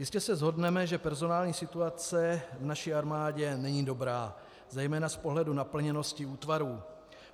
Jistě se shodneme, že personální situace v naší armádě není dobrá zejména z pohledu naplněnosti útvarů.